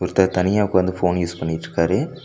ஒருத்தர் தனியா உக்காந்து போன் யூஸ் பண்ணிட்ருக்காரு.